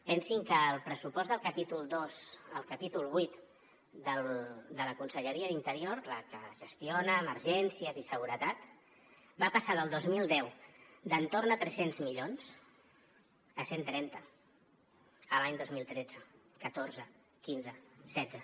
pensin que el pressupost del capítol dos al capítol vuit de la conselleria d’interior la que gestiona emergències i seguretat va passar del dos mil deu d’entorn a tres cents milions a cent i trenta l’any dos mil tretze dos mil catorze dos mil quinze dos mil setze